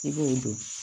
I b'o don